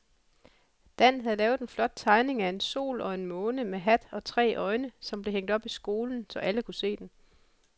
Dan havde lavet en flot tegning af en sol og en måne med hat og tre øjne, som blev hængt op i skolen, så alle kunne se den.